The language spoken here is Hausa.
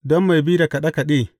Don mai bi da kaɗe kaɗe.